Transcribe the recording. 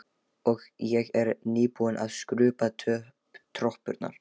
Ég er nýbúin að skrúbba tröppurnar.